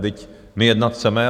Vždyť my jednat chceme.